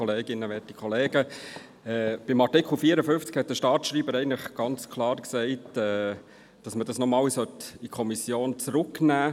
Zu Artikel 54 hat der Staatsschreiber eigentlich klar gesagt, dass man diesen nochmals an die Kommission zurückgeben sollte.